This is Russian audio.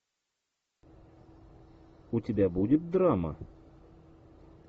у тебя будет драма